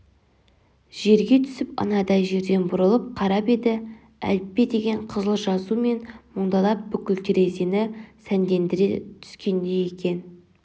жерге түсіп анадай жерден бұрылып қарап еді әліппедеген қызыл жазу мен мұндалап бүкіл терезені сәндендіре түскендей екен